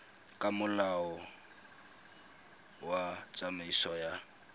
ka molao wa tsamaiso ya